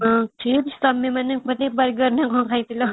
ହଁ chips ତମେ ମାନେ burger ନା କ'ଣ ଖାଇଥିଲ |